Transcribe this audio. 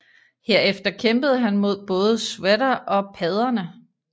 Herefter kæmpede han mod både Shredder og padderne